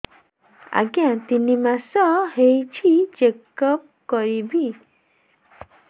ଆଜ୍ଞା ତିନି ମାସ ହେଇଛି ଚେକ ଅପ କରିବି